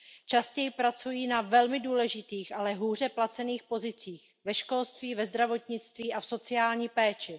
Častěji pracují na velmi důležitých, ale hůře placených pozicích ve školství, ve zdravotnictví a v sociální péči.